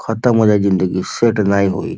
खतम हो जाई ज़िन्दगी सेट नाही होई।